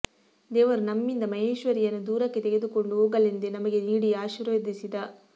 ದೇವರು ನಮ್ಮಿಂದ ಮಹೇಶ್ವರಿಯನ್ನು ದೂರಕ್ಕೆ ತೆಗೆದುಕೊಂಡು ಹೋಗಲೆಂದೇ ನಮಗೆ ನೀಡಿ ಆಶೀರ್ವದಿಸಿದ